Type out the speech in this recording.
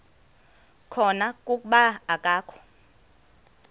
khona kuba akakho